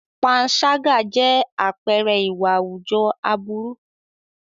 Panṣágà jẹ́ àpẹẹrẹ ìwà àwùjọ aburú.